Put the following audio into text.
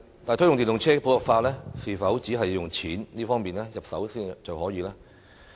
但是，推動電動車普及化是否只從金錢方面入手就可以做到？